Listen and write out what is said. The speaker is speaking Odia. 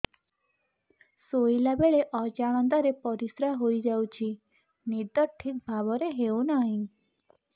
ଶୋଇଲା ବେଳେ ଅଜାଣତରେ ପରିସ୍ରା ହୋଇଯାଉଛି ନିଦ ଠିକ ଭାବରେ ହେଉ ନାହିଁ